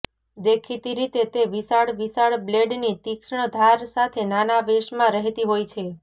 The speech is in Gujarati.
દેખીતી રીતે તે વિશાળ વિશાળ બ્લેડની તીક્ષ્ણ ધાર સાથે નાના વેશમાં રહેતી હોય છે